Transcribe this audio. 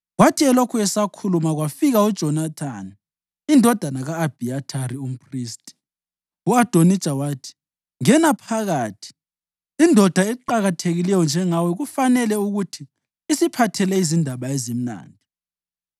Kwathi elokhu esakhuluma kwafika uJonathani indodana ka-Abhiyathari umphristi. U-Adonija wathi, “Ngena phakathi. Indoda eqakathekileyo njengawe kufanele ukuthi isiphathele izindaba ezimnandi.”